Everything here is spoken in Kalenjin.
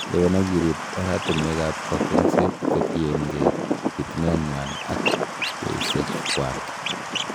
Lewen ak iriib oratinwek ab kokwengset kotienge bitunenywan ak beisiekchwak.